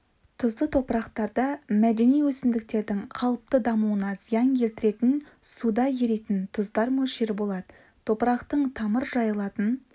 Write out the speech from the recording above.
тұзды топырақтарда мәдени өсімдіктердің қалыпты дамуына зиян келтіретін суда еритін тұздар мөлшері болады топырақтың тамыр жайылатын